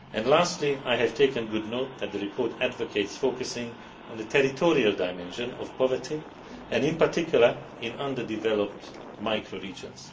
Lastly, I have taken good note that the report advocates focusing on the territorial dimension of poverty and, in particular, in underdeveloped micro regions.